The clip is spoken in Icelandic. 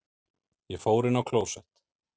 Ég fór inn á klósett.